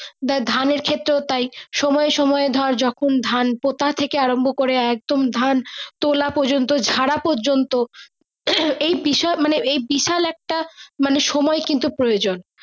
বা ধানের ক্ষেত্রে তাই সময় সময় ধর যখন ধান পোতা থেকে আরম্ব করে একদম ধান তোলা পর্যন্ত ঝাড়া পর্যন্ত উম এই বিষয় এই বিশাল একটা মানে সময় কিন্তু প্রয়োজন।